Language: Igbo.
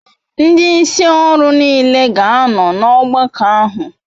Ndi isi oru n'ile ga ano n'ogbako ahu